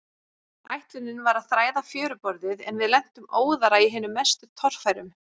Ætlunin var að þræða fjöruborðið, en við lentum óðara í hinum mestu torfærum.